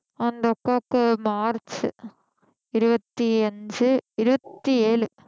அந்த அக்காக்கு மார்ச் இருவத்தி அஞ்சு இருவத்தி ஏழு